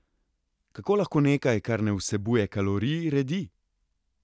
Kako lahko nekaj, kar ne vsebuje kalorij, redi?